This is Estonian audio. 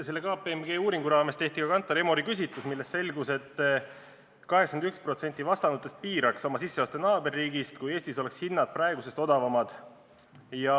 Selle KPMG uuringu raames tehti Kantar Emori küsitlus, millest selgus, et 81% vastanutest piiraks oma sisseoste naaberriigis, kui Eestis oleks hinnad praegusest odavamad.